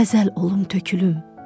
Xəzəl olum tökülüm.